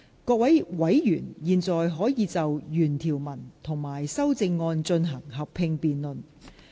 各位委員現在可以就原條文及修正案進行合併辯論。